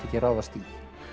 ekki ráðast í